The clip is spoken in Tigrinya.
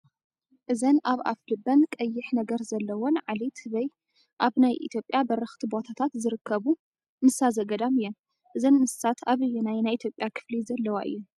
እዘን ኣብ ኣፍ ልበን ቀይሕ ነገር ዘለወን ዓሌት ህበይ ኣብ ናይ ኢትዮጵያ በረኽቲ ቦታ ዝርከቡ እንስሳ ዘገዳም እየን፡፡ እዘን እንስሳት ኣበየናይ ናይ ኢትዮጵያ ክፍሊ ዘለዋ እየን?